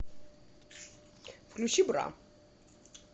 включи бра